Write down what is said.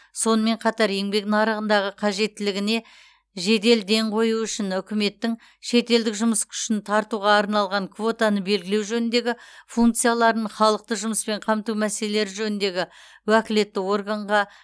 сонымен қатар еңбек нарығындағы қажеттілігіне жедел ден қою үшін үкіметтің шетелдік жұмыс күшін тартуға арналған квотаны белгілеу жөніндегі функцияларын халықты жұмыспен қамту мәселелері жөніндегі уәкілетті органға